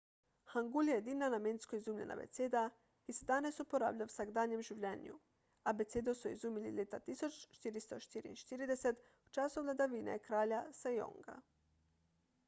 hangul je edina namensko izumljena abeceda ki se danes uporablja v vsakdanjem življenju. abecedo so izumili leta 1444 v času vladavine kralja sejonga 1418–1450